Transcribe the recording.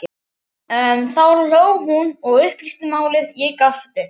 Þá hló hún og upplýsti málið, ég gapti.